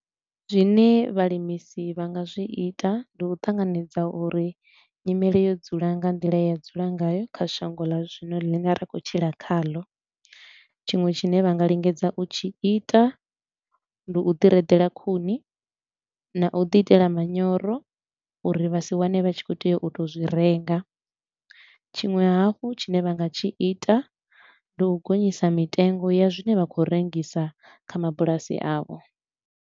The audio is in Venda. Zwine vhalimisi vha nga zwi ita, ndi u ṱanganedza uri nyimele yo dzula nga nḓila ye ya dzula ngayo kha shango ḽa zwino ḽine ra khou tshila khaḽo. Tshiṅwe tshine vha nga lingedza u tshi ita, ndi u ḓi reḓela khuni na u ḓi itela manyoro uri vha si wane vha tshi khou tea u tou zwi renga. Tshiṅwe hafhu tshine vha nga tshi ita ndi u gonyisa mitengo ya zwine vha khou rengisa kha mabulasi avho.